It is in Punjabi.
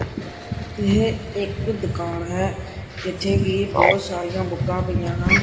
ਇਹ ਇੱਕ ਦੁਕਾਨ ਹੈ ਜਿੱਥੇ ਕਿ ਬਹੁਤ ਸਾਰੀਆਂ ਬੁੱਕਾਂ ਪਈਆਂ ਹਨ।